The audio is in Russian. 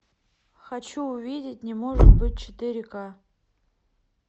хочу увидеть не может быть четыре к